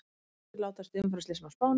Færri látast í umferðarslysum á Spáni